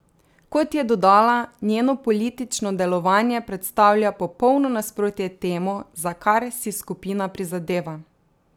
Kot je dodala, njeno politično delovanje predstavlja popolno nasprotje temu, za kar si skupina prizadeva.